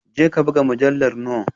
Jeka buga mujallar noe